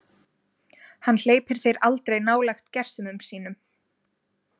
Hann hleypir þér aldrei nálægt gersemum sínum.